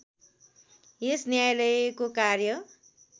यस न्यायालयको कार्य